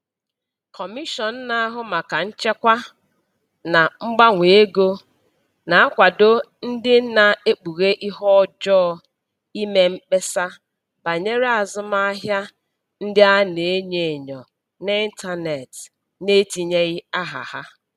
Kọmishọn na-ahụ maka Nchekwa na Mgbanwe Ego na-akwado ndị na-ekpughe ihe ọjọọ ime mkpesa banyere azụmahịa ndị a na-enyo enyo n'ịntanetị n'etinyeghị aha ha.